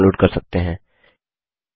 wwwgeogebraorg से इसे download कर सकते हैं